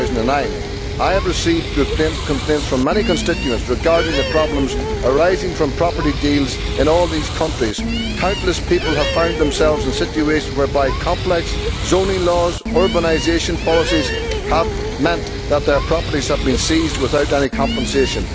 2009. I have received complaints from many constituents regarding the problems arising from property deals in all these countries. Countless people have found themselves in situations whereby complex zoning laws and urbanisation policies have meant that their properties have been seized without any compensation.